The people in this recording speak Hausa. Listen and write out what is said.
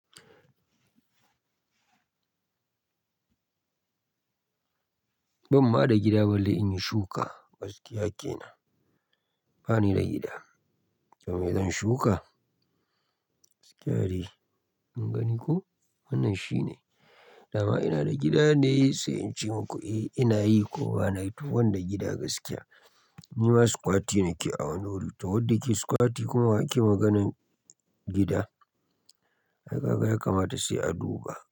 Ban ma da gida balle in yi shuka, gaskiya kenan. Bani da gida. To me zan shuka? Gaskiya dai. Kun gani ko? Wannan shine. Da ma ina da gida ne sai in ce muku eh ina yi ko ba na yi to ban da gida gaskiya. Ni ma sukwati nake a wannan wurin. Ta wadda ke sukwati kuma ake maganan gida. Ai kaga yakamata sai a duba.